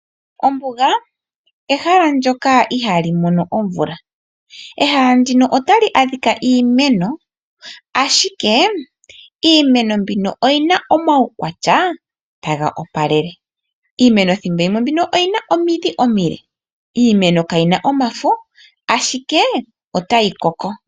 Ombuga ehala ndoka ihali mono omvula. Ehala ndika otali adhika iimeno ashike iimeno mbino oyina omaukwatya taga opalele. Iimeno thimbolimwe oyina omidhi omile, iimeno kayi na omafo ashike otayi koko.